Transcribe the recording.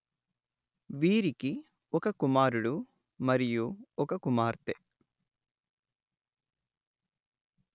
వీరికి ఒక కుమారుడు మరియు ఒక కుమార్తె